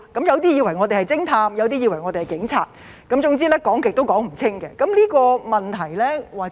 有些以為我們是偵探，有些以為我們是警察，總之是怎樣說也說不清。